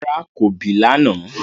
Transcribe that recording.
Rárá, ko bì lànà